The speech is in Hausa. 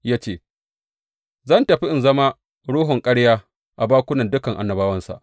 Ya ce, Zan tafi in zama ruhun ƙarya a bakunan dukan annabawansa.’